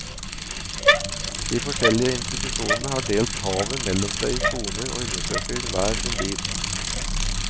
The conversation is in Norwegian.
De forskjellige institusjonene har delt havet mellom seg i soner og undersøker hver sin bit.